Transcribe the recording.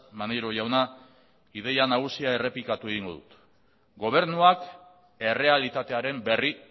maneiro jauna ideia nagusia errepikatu egingo dut gobernuak errealitatearen berri